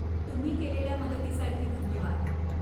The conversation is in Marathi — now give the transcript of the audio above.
तुम्ही केलेल्या मदतीसाठी धन्यवाद.